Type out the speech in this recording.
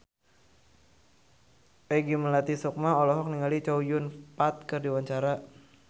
Peggy Melati Sukma olohok ningali Chow Yun Fat keur diwawancara